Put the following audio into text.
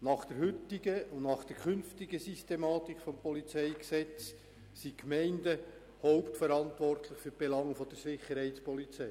Nach der heutigen und nach der künftigen Systematik des PolG sind die Gemeinden hauptverantwortlich für Belange der Sicherheitspolizei.